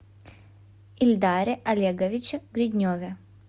ильдаре олеговиче гридневе